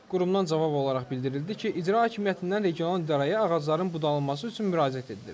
Qurumdan cavab olaraq bildirildi ki, İcra Hakimiyyətindən regional idarəyə ağacların budanması üçün müraciət edilib.